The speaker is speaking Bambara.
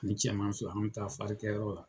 Ni cɛman fila ,an be taa kɛ yɔrɔ la.